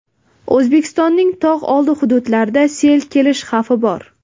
O‘zbekistonning tog‘oldi hududlarida sel kelishi xavfi bor.